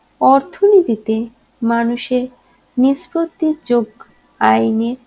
অর্থনীতিতে মানুষের নিষ্পত্তির যোগ আইনে